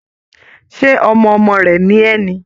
Ṣe ọmọ ọmọ rẹ̀ ni ẹ́ ni?